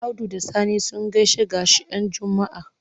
Audu da Sani sun gaishe-gaishen Juma'a.